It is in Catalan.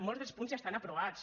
molts del punts ja estan aprovats